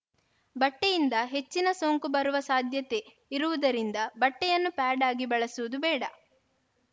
ಬಟ್ಟೆಯಿಂದ ಹೆಚ್ಚಿನ ಸೋಂಕು ಬರುವ ಸಾಧ್ಯತೆ ಇರುವುದರಿಂದ ಬಟ್ಟೆಯನ್ನು ಪ್ಯಾಡ್‌ ಆಗಿ ಬಳಸುವುದು ಬೇಡ